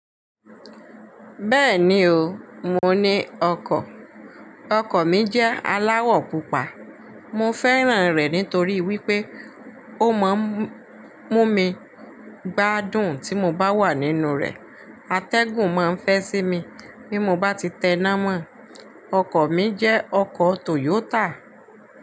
Bẹ́ẹ̀ni o, mo ni ọkọ̀. Ọkọ̀ mi jẹ́ aláwọ̀ pupa. Mo fẹ́ràn rẹ̀ nítorí wípé ó máa ń mú mi gbádùn tí mo bá wà nínú rẹ̀. Atẹ́gùn ma ń fẹ́ sí mi bí mo bá ti tẹná mọ̀. Ọkọ̀ mi jẹ́ ọkọ̀ Toyota.